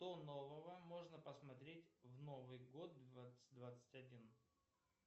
что нового можно посмотреть в новый год двадцать двадцать один